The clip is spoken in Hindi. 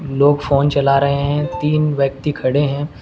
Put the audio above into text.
लोग फोन चला रहे हैं तीन व्यक्ति खड़े हैं।